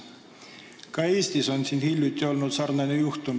Ka Eestis on hiljuti olnud sarnane juhtum.